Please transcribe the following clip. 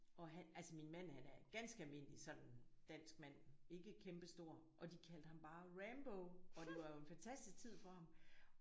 Og altså min mand han er ganske almindelig sådan dansk mand ikke kæmpestor og de kaldte ham bare Rambo og det var jo en fantastisk tid for ham